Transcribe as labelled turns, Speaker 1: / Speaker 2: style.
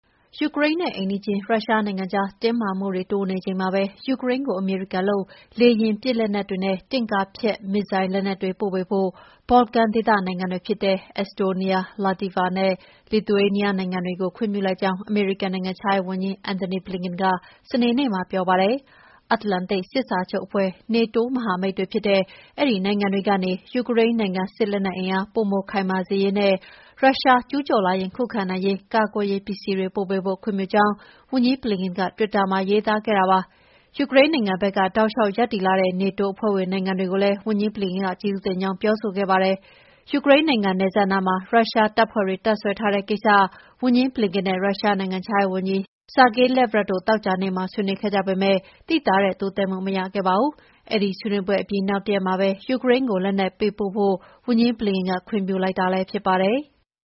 Speaker 1: ယူကရိန်းနဲ့ အိမ်နီးချင်း ရုရှားနိုင်ငံကြား တင်းမာမှုတွေ တိုးနေချိန်မှာပဲ ယူကရိန်းကို အမေရိကန်လုပ် လေယာဉ်ပစ်လက်နက်တွေနဲ့ တင့်ကားဖျက် မစ်ဇိုင်းလက်နက်တွေ ပို့ပေးဖို့ ဘော်လကန်ဒေသက နိုင်ငံတွေဖြစ်တဲ့ Estonia, Latvia နဲ့ Lithuania နိုင်ငံတွေကို ခွင့်ပြုလိုက်ကြောင်း အမေရိကန် နိုင်ငံခြားရေးဝန်ကြီး Antony Blinken က စနေနေ့မှာ ပြောပါတယ်။ မြောက်အတ္တလန္တိတ် စစ်စာချုပ်အဖွဲ့ (NATO) မဟာမိတ်တွေဖြစ်တဲ့ အဲဒီနိုင်ငံတွေကနေ ယူကရိန်းနိုင်ငံ စစ်အင်အား ပိုခိုင်မာစေရေးနဲ့ ရုရှားကျူးကျော်လာရင် ခုခံနိုင်ရေး ကာကွယ်ရေးပစ္စည်းတွေ ပို့ပေးဖို့ ခွင့်ပြုကြောင်း ဝန်ကြီး Blinken က တွစ်တာမှာ ရေးသားခဲ့ပါတယ်။ ယူကရိန်းနိုင်ငံဘက်က တောက်လျှောက်ရပ်တည်လာတဲ့ နေတိုးအဖွဲ့ဝင် နိုင်ငံတွေကိုလည်း ဝန်ကြီး Blinken က ကျေးဇူးတင်ကြောင်း ပြောဆိုခဲ့ပါတယ်။ ယူကရိန်းနိုင်ငံ နယ်စပ်နားမှာ ရုရှားတပ်ဖွဲ့တွေ တပ်စွဲထားတဲ့ကိစ္စ ဝန်ကြီး Blinken နဲ့ ရုရှားနိုင်ငံခြားရေးဝန်ကြီး Sergey Lavrov တို့ သောကြာနေ့က ဆွေးနွေးခဲ့ကြပေမယ့် သိသာတဲ့တိုးတက်မှု မရခဲ့ပါဘူး။ အဲဒီဆွေးနွေးပွဲအပြီး နောက်တရက်မှာပဲ ယူကရိန်းကို လက်နက်ပေးပို့ဖို့ ဝန်ကြီး Blinken
Speaker 2: က ခွင့်ပြုလိုက်တာလည်း ဖြစ်ပါတယ်။